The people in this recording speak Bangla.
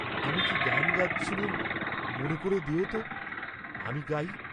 আমি কি গান গাচ্ছিলুম, মনে করে দেও তো, আমি গাই।